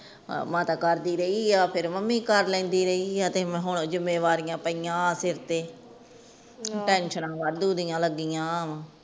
ਹਨ ਮਾਤਾ ਕਰਦੀ ਰਹੀ ਆ ਫੇਰ ਮਮ੍ਮੀ ਕਰਦੀ ਰਹੀ ਆ ਤੇ ਹੁਣ ਜਿੱਮੇਵਾਰਿਯਾ ਪਾਇਆ ਸਰ ਤੇ ਟੇਨਸਨਾ ਵਾਦੁ ਦੀਆ ਲਗਿਆਂ